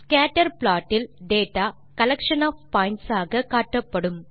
scatter plot இல் data collection of points ஆக காட்டப்படும்